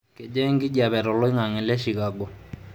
kejaa enkijape to olaing'ang'e le chicago